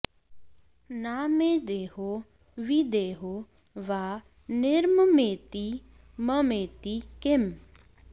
न मे देहो विदेहो वा निर्ममेति ममेति किम्